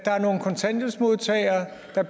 at